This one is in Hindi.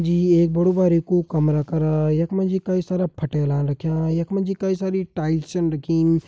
जी एक बड़ु बारिकु कमरा करा यख मा जी कई सारा फटेला रख्यां यख मा जी कई सारी टाईल्स छन रखीं।